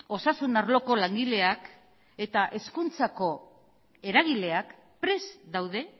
osasun arloko langileak eta hezkuntzako eragileak prest daude